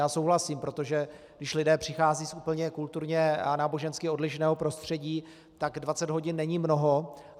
Já souhlasím, protože když lidé přicházejí z úplně kulturně a nábožensky odlišného prostředí, tak 20 hodin není mnoho.